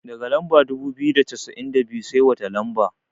Daga lamba dubu biyu da cassa'in da biyu, sai wata lamba?